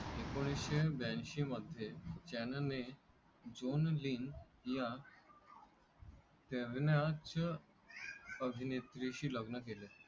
एकोणीसशे ब्याऐशीमध्ये चानने झोनझीन या अभिनेत्रीशी लग्न केले.